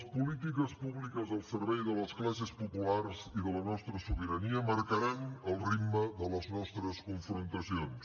les polítiques públiques al servei de les classes populars i de la nostra sobirania marcaran el ritme de les nostres confrontacions